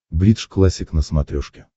бридж классик на смотрешке